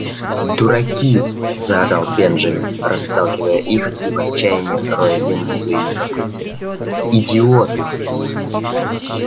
дураки заорал бенджамин расталкивая их и в отчаянии роя землю своими копытцами идиоты